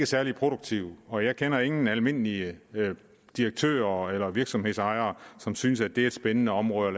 særlig produktivt og jeg kender ingen almindelige direktører eller virksomhedsejere som synes at det er et spændende område at